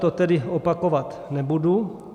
To tedy opakovat nebudu.